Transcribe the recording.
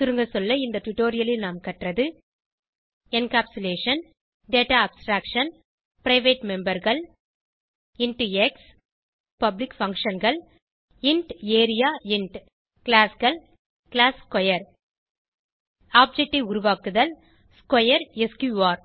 சுருங்கசொல்ல இந்த டுடோரியலில் நாம் கற்றது என்கேப்சுலேஷன் டேட்டா அப்ஸ்ட்ராக்ஷன் பிரைவேட் memberகள் இன்ட் எக்ஸ் பப்ளிக் functionகள் இன்ட் ஏரியா Classகள் கிளாஸ் ஸ்க்வேர் ஆப்ஜெக்ட் ஐ உருவாக்குதல் ஸ்க்வேர் எஸ்கியூஆர்